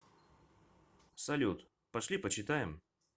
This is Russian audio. салют пошли почитаем